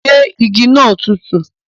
Ṣé igi naa tùtù?